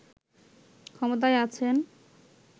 ক্ষমতায় আছেন